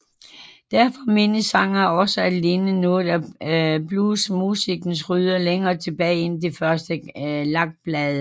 Derfor menes sangene også at ligne noget af bluesmusikkens rødder længere tilbage end de første lakplader